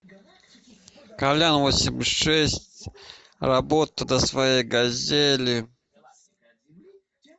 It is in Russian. калян восемьдесят шесть работа на своей газели